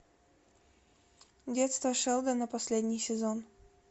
детство шелдона последний сезон